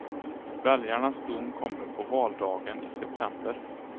Väljarnas dom kommer på valdagen i september.